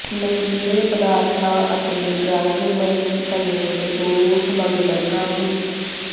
ਨਸ਼ੀਲੇ ਪਦਾਰਥਾਂ ਅਤੇ ਡਰੱਗ ਮਨੀ ਸਮੇਤ ਦੋ ਸਮਗਲਰ ਕਾਬੂ